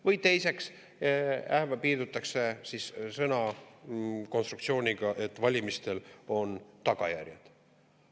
Või piirdutakse sõnakonstruktsiooniga, et valimistel on tagajärjed.